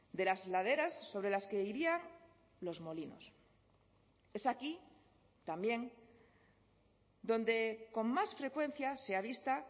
de las laderas sobre las que irían los molinos es aquí también donde con más frecuencia se avista